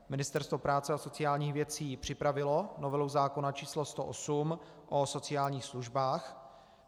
Ministerstvo práce a sociálních věcí připravilo novelu zákona č. 108 o sociálních službách.